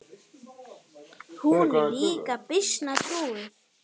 Hún var líka býsna trúuð.